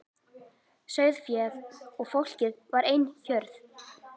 Sauðféð og fólkið var ein hjörð.